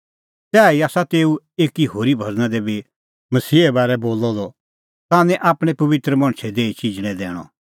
तैही आसा तेऊ एकी होरी भज़ना दी बी मसीहे बारै बोलअ द ताह निं आपणैं पबित्र मणछे देही चिजणैं दैणअ